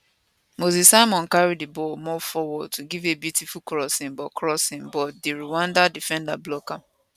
moses simon carry di ball more forward to give a beautiful crossing but crossing but di rwanda defenders block am